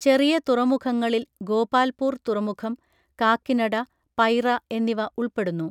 ചെറിയ തുറമുഖങ്ങളിൽ ഗോപാൽപൂർ തുറമുഖം, കാക്കിനഡ, പൈറ എന്നിവ ഉൾപ്പെടുന്നു.